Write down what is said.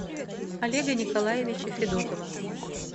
олега николаевича федотова